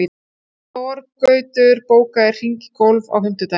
Þorgautur, bókaðu hring í golf á fimmtudaginn.